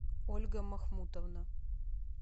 ольга махмутовна